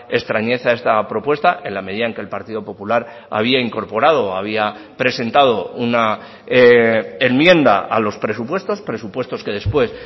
extrañeza esta propuesta en la medida en que el partido popular había incorporado o había presentado una enmienda a los presupuestos presupuestos que después